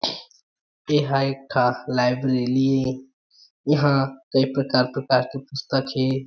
एहा एक ठा लाइब्रेरी ए इहा कई कई प्रकार- प्रकार के पुस्तक हे।